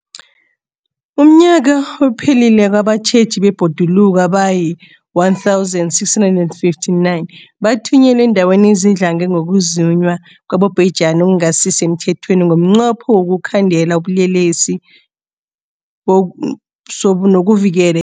UmNnyaka ophelileko abatjheji bebhoduluko abayi-1 659 bathunyelwa eendaweni ezidlange ngokuzunywa kwabobhejani okungasi semthethweni ngomnqopho wokuyokukhandela ubulelesobu nokuvikela ibhoduluko.